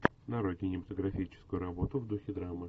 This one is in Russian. нарой кинематографическую работу в духе драмы